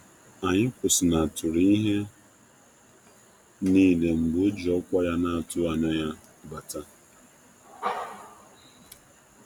Anyị kwụsịnataru ihe niile mgbe o ji ọkwa ya na-atụghị anya um ya anya um ya bata